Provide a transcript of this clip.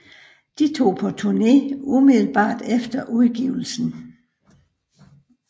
De tog på turné umiddelbart efter udgivelsen